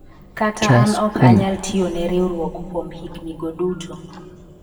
kata an ok anyal tiyo ne riwruok kuom higni go duto